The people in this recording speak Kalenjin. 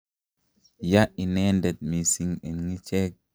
ya inende mising eng' ichek